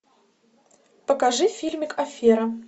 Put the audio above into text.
покажи фильмик афера